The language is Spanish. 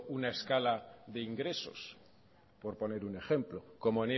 una escala de ingresos por poner un ejemplo como